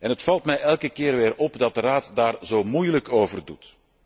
Het valt mij elke keer weer op dat de Raad daarover zo moeilijk doet.